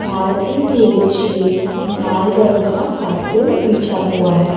नीचे लाल रंग का कारपेट बिछा हुआ है।